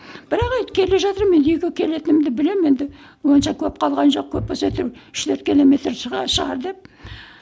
бірақ келе жатырмын енді үйге келетінімді білемін енді онша көп калған жоқ көп болса әйтеуір үш төрт километр шығар деп